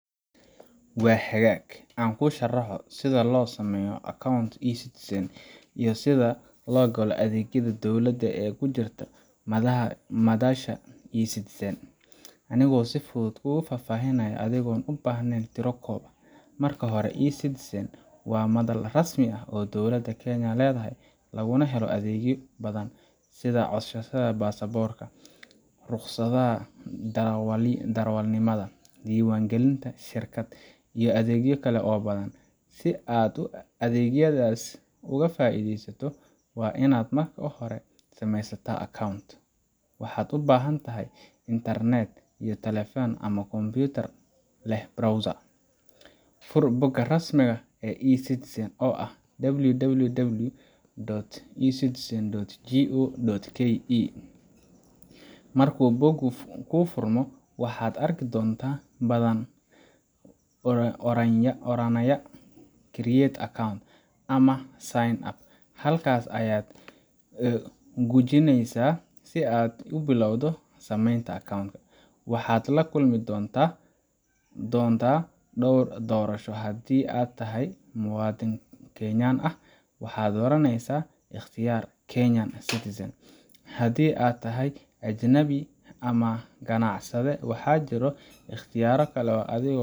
Waa hagaag, aan kuu sharaxo sida loo sameysto account eCitizen iyo sida loo galo adeegyada dowladda ee ku jira madasha eCitizen, anigoo si fudud kuugu fahfaahinaya, adigoon u baahnayn tiro koob: Marka hore, eCitizen waa madal rasmi ah oo dowladda Kenya leedahay, laguna helo adeegyo badan sida codsashada baasaboorka, rukhsadda darawalnimada, diiwaangelinta shirkad, iyo adeegyo kale oo badan. Si aad adeegyadaas uga faa’iidaysato, waa in aad marka hore samaysataa account. Waxaad u baahan tahay internet iyo taleefan ama kombiyuutar leh browser. Fur bogga rasmiga ah ee eCitizen oo ah www.ecitizen.go.ke. Marka boggu kuu furmo, waxaad arki doontaa badhan oranaya Create Account ama Sign Up. Halkaas ayaad gujinaysaa si aad u bilowdo samaynta account. Waxaad la kulmi doontaa dhowr doorasho haddii aad tahay muwaadin Kenyan ah, waxaad dooranaysaa ikhtiyaarka Kenyan Citizen; haddii aad tahay ajnabi ama ganacsade, waxaa jiro ikhtiyaarro kale adiga